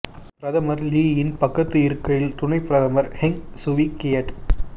பிரதமர் லீயின் பக்கத்து இருக்கையில் துணைப் பிரதமர் ஹெங் சுவீ கியட்